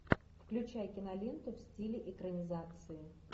включай киноленту в стиле экранизации